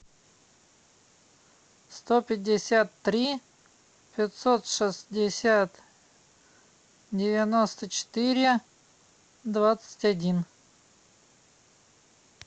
сто пятьдесят три пятьсот шестьдесят девяносто четыре двадцать один